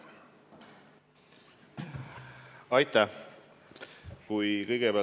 Aitäh!